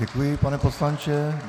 Děkuji, pane poslanče.